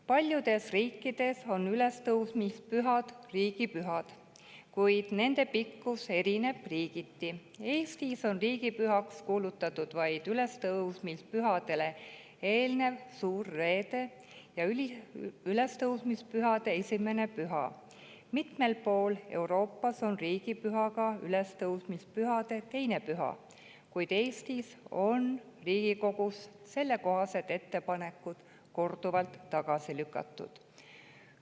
Paljudes riikides on ülestõusmispühad riigipühad, kuid nende pikkus erineb riigiti – Eestis on riigipühaks kuulutatud vaid ülestõusmispühadele eelnev suur reede ja ülestõusmispühade 1. püha, mitmel pool Euroopas on riigipüha ka ülestõusmispühade 2. püha, kuid Eestis on sellekohased ettepanekud Riigikogus korduvalt tagasi lükatud.